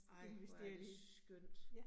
Ej, hvor er det skønt